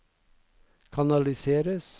kanaliseres